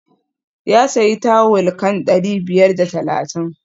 Ya sayi tawul kan dari biyar da talatin